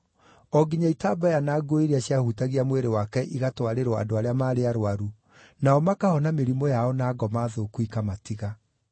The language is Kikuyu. o nginya itambaya na nguo iria ciahutagia mwĩrĩ wake igatwarĩrwo andũ arĩa maarĩ arũaru, nao makahona mĩrimũ yao na ngoma thũku ikamatiga.